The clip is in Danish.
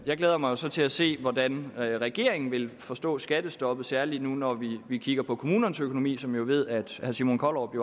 jeg glæder mig så til at se hvordan regeringen vil forstå skattestoppet særlig nu når vi vi kigger på kommunernes økonomi som jeg jo ved at herre simon kollerup i